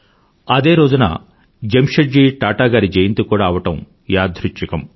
అదే రోజున జమ్షెడ్ జీ టాటా గారి జయంతి కూడా అవడం యాదృచ్ఛికం